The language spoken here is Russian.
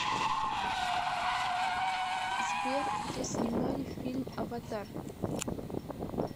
сбер где снимали фильм аватар